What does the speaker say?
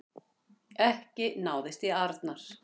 Ekki náðist í Arnar